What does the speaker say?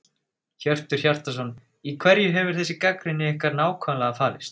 Hjörtur Hjartarson: Í hverju hefur þessi gagnrýni ykkar nákvæmlega falist?